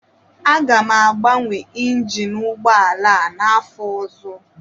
M ga-agbanwe Injin ụgbọ ala a n'afọ ọzọ